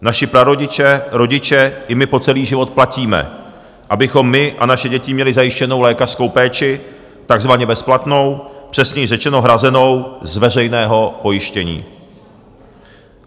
Naši prarodiče, rodiče i my po celý život platíme, abychom my a naše děti měli zajištěnu lékařskou péči takzvaně bezplatnou, přesněji řečeno, hrazenou z veřejného pojištění.